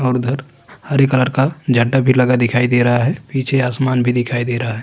और उधर हरे कलर का जड़ा भी लगा दिखाई दे रहा है पीछे आसमान भी दिखाई दे रहा है।